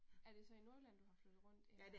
Er det så i Nordjylland du har flytet rundt eller?